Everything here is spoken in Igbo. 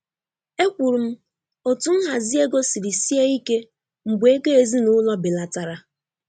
Ekwuru m otú nhazi ego siri sie ike mgbe ego ezinụlọ belatara.